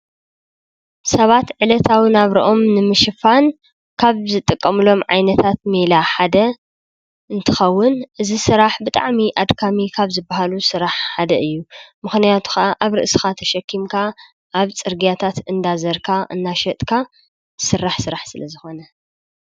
ሰባት ዕለታዊ ናብርኦም ንምሽፋን ካብ ዝጥቀምሎም ዓይነታት ሜላ ሓደ እንትኸውን እዚ ስራሕ ብጣዕሚ ኣድካሚ ካብ ዝበሃሉ ስራሕ ሓደ እዩ። ምኽንያቱ ኸዓ ኣብ ርእስኻ ተሸኪምካ ኣብ ፅርግያታት እናዘርካ እናሸጥካ ዝስራሕ ስራሕ ስለዝኾነ።